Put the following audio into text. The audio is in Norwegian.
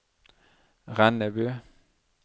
Rennebu